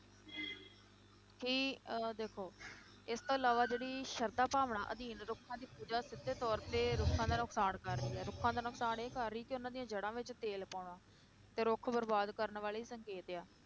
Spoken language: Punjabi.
ਕਿ ਅਹ ਦੇਖੋ ਇਸ ਤੋਂ ਇਲਾਵਾ ਜਿਹੜੀ ਸਰਧਾ ਭਾਵਨਾ ਅਧੀਨ ਰੁੱਖਾਂ ਦੀ ਪੂਜਾ ਸਿੱਧੇ ਤੌਰ ਤੇ ਰੁੱਖਾਂ ਦਾ ਨੁਕਸਾਨ ਕਰ ਰਹੀ ਹੈ ਰੁੱਖਾਂ ਦਾ ਨੁਕਸਾਨ ਇਹ ਕਰ ਰਹੀ ਹੈ, ਉਹਨਾਂ ਦੀਆਂ ਜੜ੍ਹਾਂ ਵਿੱਚ ਤੇਲ ਪਾਉਣਾ, ਤੇ ਰੁੱਖ ਬਰਬਾਦ ਕਰਨ ਵਾਲੇ ਸੰਕੇਤ ਆ।